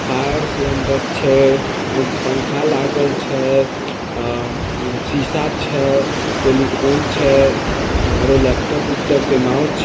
fire cylinder छैआ- पंखा लागल छै आ-शीशा छै टेलिफोन छै आडो लैपटॉप उपटॉप के माउ छ--